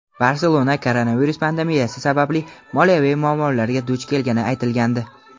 "Barselona" koronavirus pandemiyasi sababli moliyaviy muammolarga duch kelgani aytilgandi.